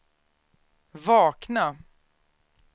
vakna